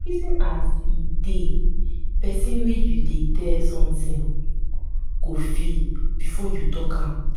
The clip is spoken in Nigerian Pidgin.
reason as um de pesin wey you dey tell something go feel before you talk am.